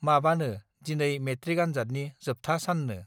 माबानो दिनै मेट्रिक आनजादनि जोबथा साननो